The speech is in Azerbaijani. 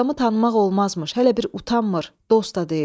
Adamı tanımaq olmazmış, hələ bir utanmır, dost da deyir.